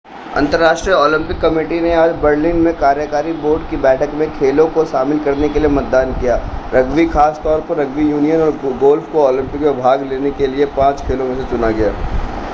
अंतर्राष्ट्रीय Olympic committee ने आज बर्लिन में कार्यकारी बोर्ड की बैठक में खेलों को शामिल करने के लिए मतदान किया रग्बी खास तौर पर रग्बी यूनियन और गोल्फ़ को ओलंपिक में भाग लेने के लिए पांच खेलों में से चुना गया